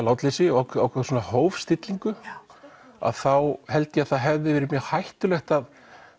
látleysi og ákveðið hófstillingu þá held ég að það hefði verið mjög hættulegt að